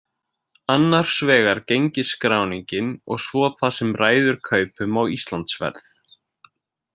Annars vegar gengisskráningin og svo það sem ræður kaupum á Íslandsferð.